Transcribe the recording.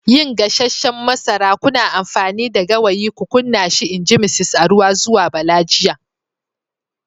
yin gasasshen masara, kuna amfani da gawayi ku kunna shi in ji Misis Aruwa zuwa Bala jiya.